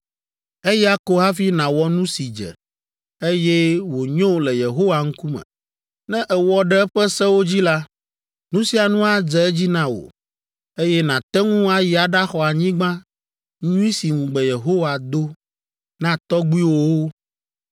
Eya ko hafi nàwɔ nu si dze, eye wònyo le Yehowa ŋkume. Ne èwɔ ɖe eƒe sewo dzi la, nu sia nu adze edzi na wò, eye nàte ŋu ayi aɖaxɔ anyigba nyui si ŋugbe Yehowa do na tɔgbuiwòwo.